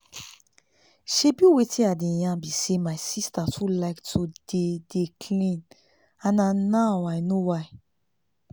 shebi wetin i dey yan bi say my sister too like to dey dey clean and na now i know why